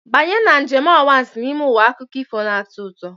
Banye na njem anwansi n'ime ụwa akụkọ ifo na-atọ ụtọ.